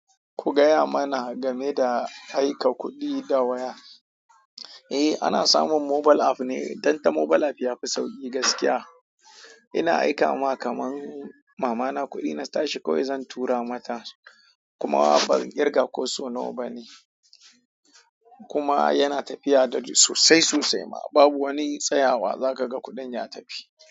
Ku gaya mana game da aika kuɗi da waya eh, ana samun mobile app ne, dan ta mobile app yafi sauƙi gaskiya. Ina aika wa kaman mama na kuɗi na tashi kawai zan tura mata. Kuma ban kirga ko so nawa bane. Kuma yana tafiya daidai sosai sosai ma babu wani tsayawa za ka ga kuɗin ya tafi.